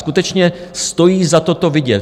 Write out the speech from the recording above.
Skutečně stojí za to to vidět.